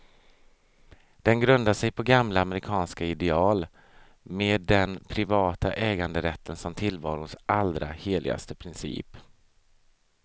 Den grundar sig på gamla amerikanska ideal, med den privata äganderätten som tillvarons allra heligaste princip.